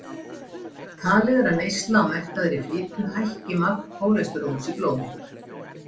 Talið er að neysla á mettaðri fitu hækki magn kólesteróls í blóði.